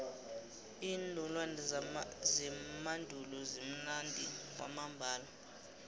iinolwana zemandulo zimnandi kwamambala